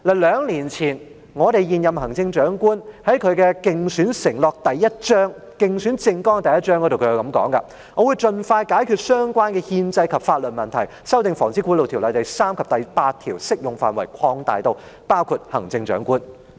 兩年前，現任行政長官在競選政綱的第1章是這樣說的："我會盡快解決相關的憲制及法律問題，修訂《防止賄賂條例》，將第3及第8條適用範圍擴大至包括行政長官"。